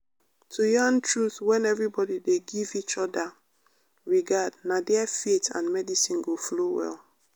to yarn truth when everybody dey give each other regard na there faith and medicine go flow well.